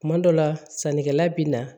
Kuma dɔ la sannikɛla bɛ na